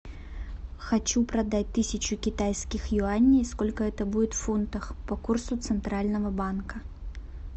хочу продать тысячу китайских юаней сколько это будет в фунтах по курсу центрального банка